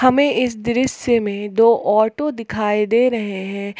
हमें इस दृश्य में दो ऑटो दिखाई दे रहे हैं।